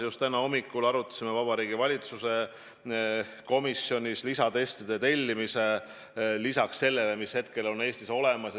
Just täna hommikul arutasime Vabariigi Valitsuse komisjonis lisatestide tellimist lisaks sellele, mis hetkel on Eestis olemas.